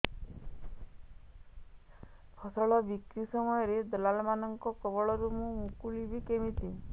ଫସଲ ବିକ୍ରୀ ସମୟରେ ଦଲାଲ୍ ମାନଙ୍କ କବଳରୁ ମୁଁ ମୁକୁଳିଵି କେମିତି